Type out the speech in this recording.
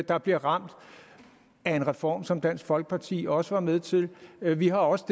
der bliver ramt af en reform som dansk folkeparti også var med til men vi har også